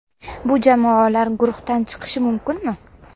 Bu jamoalar guruhdan chiqishi mumkinmi?